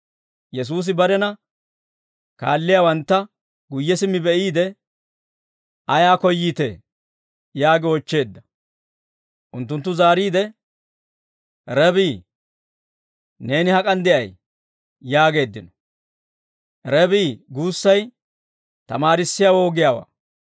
Yesuusi barena kaalliyaawantta guyye simmi be'iide, «Ayaa koyyiitee?» yaagi oochcheedda. Unttunttu zaariide, «Rebii, neeni hak'an de'ay?» yaageeddino. «Rebii» guussay «Tamaarissiyaawoo» giyaawaa.